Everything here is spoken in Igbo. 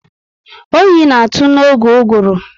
Oyi na atụ n'oge uguru